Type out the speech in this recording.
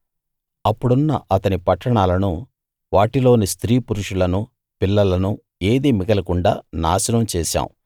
అప్పుడున్న అతని పట్టణాలనూ వాటిలోని స్త్రీ పురుషులనూ పిల్లలనూ ఏదీ మిగలకుండా నాశనం చేశాం